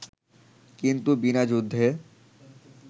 কিন্তু বিনা যুদ্ধে